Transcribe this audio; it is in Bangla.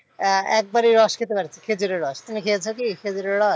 আহ একবারই রস খেতে পারছি খেঁজুরে রস। তুমি খেয়েছো কি খেঁজুরের রস?